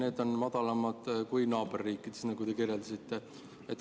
Need määrad on madalamad kui naaberriikides, nagu te kirjeldasite.